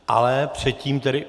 Ale předtím tedy...